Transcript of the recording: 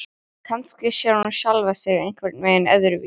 Kannski sér hún sjálfa sig einhvern veginn öðruvísi.